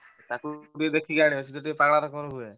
ତାକୁ ଟିକେ ଦେଖିକି ଆଣିବ ସିଏ ଟିକେ ପାଗଳା ହୁଏ।